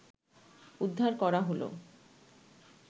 উদ্ধার করা হলো